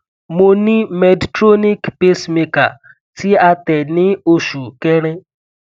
mo ni medtronic pacemaker ti a te ni oṣu kẹrin